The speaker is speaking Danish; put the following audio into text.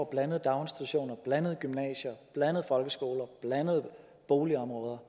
blandede daginstitutioner blandede gymnasier blandede folkeskoler blandede boligområder